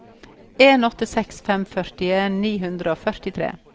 en åtte seks fem førtien ni hundre og førtitre